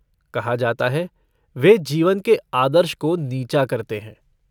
कहा जाता है वे जीवन के आदर्श को नीचा करते है।